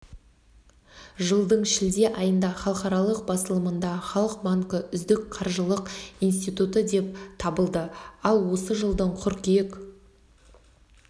жылдың шілде айында халықаралық басылымында халық банкі үздік қаржылық институты деп танылды ал осы жылдың қыркүйек